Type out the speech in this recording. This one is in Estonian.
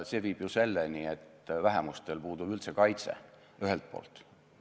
See viib ju selleni, et vähemustel puudub üldse kaitse, ühelt poolt.